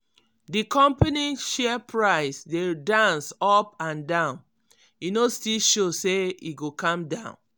di company share price dey dance up and down e no still show say e go calm down.